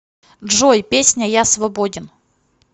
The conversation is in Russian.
джой песня я свободен